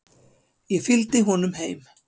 Ég fylgdi honum heim.